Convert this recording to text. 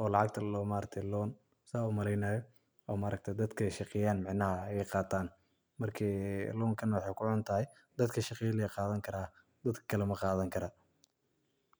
oo lacagta ladoho loan saa umaleynayo oo dadka sahaqeyan, micnaha ayqatan marka lonkan waxaykuxuntahy dadka shaqeyo lee qadhani kara dad kale maqadhani karan.